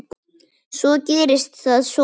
Svo gerist það svona.